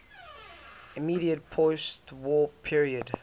immediate postwar period